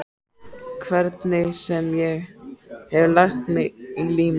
Hvernig sem ég hef lagt mig í líma.